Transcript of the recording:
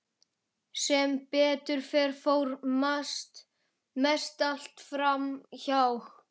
Sem betur fer fór mest allt fram hjá.